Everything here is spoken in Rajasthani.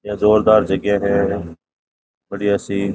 यह जोरदार जगहे है बढ़िया सी।